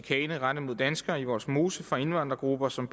og chikane rettet mod danskere i vollsmose fra indvandrergrupper som